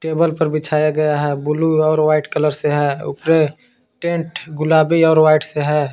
Table पर बिछाया गया है ब्लू और व्हाइट कलर से है। ऊपर टेंट गुलाबी और व्हाइट से है।